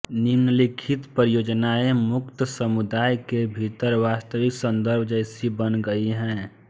निम्नलिखित परियोजनाएं मुक्त समुदाय के भीतर वास्तविक संदर्भ जैसी बन गई हैं